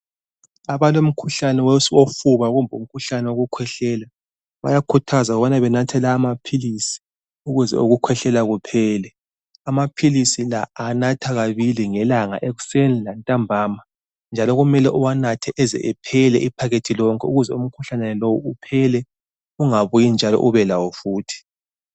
Abalomkhuhlane wofuba kumbe o wokukhwehlela bayakhuthazwa ukubana benathe lawa maphilisi ukuze ukhwehlela kuphele. Amaphilisi la anatha kabili ngelanga ekuseni lantambama njalo kumele uwanathe eze ephele iphakethi lonke ukuze umkhuhlane lowo uphele ungabuyi njalo ubelawo futhi.